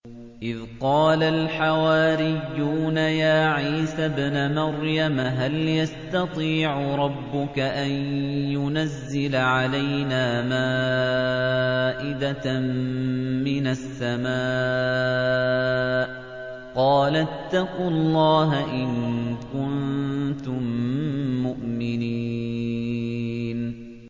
إِذْ قَالَ الْحَوَارِيُّونَ يَا عِيسَى ابْنَ مَرْيَمَ هَلْ يَسْتَطِيعُ رَبُّكَ أَن يُنَزِّلَ عَلَيْنَا مَائِدَةً مِّنَ السَّمَاءِ ۖ قَالَ اتَّقُوا اللَّهَ إِن كُنتُم مُّؤْمِنِينَ